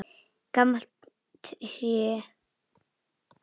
Gamalt hræ.